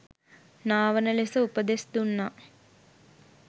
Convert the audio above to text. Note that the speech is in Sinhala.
නාවන ලෙස උපදෙස් දුන්නා.